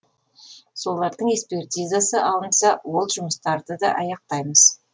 солардың экспертизасы алынса ол жұмыстарды да аяқтаймыз